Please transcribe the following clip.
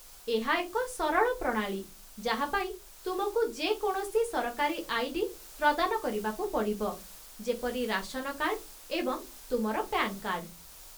ଏହା ଏକ ସରଳ ପ୍ରଣାଳୀ ଯାହା ପାଇଁ ତୁମକୁ ଯେ କୌଣସି ସରକାରୀ ଆଇ.ଡି. ପ୍ରଦାନ କରିବାକୁ ପଡ଼ିବ, ଯେପରି ରାସନ କାର୍ଡ଼, ଏବଂ ତୁମର ପ୍ୟାନ୍ କାର୍ଡ଼।